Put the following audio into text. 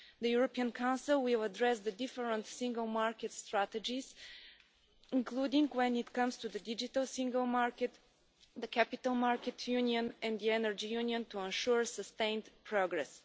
The European Council will address the different single market strategies, including when it comes to the Digital Single Market, the Capital Markets Union and the Energy Union, to ensure sustained progress.